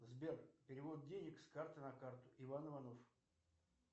сбер перевод денег с карты на карту иван иванов